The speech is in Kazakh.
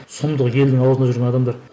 сұмдық елдің аузында жүрген адамдар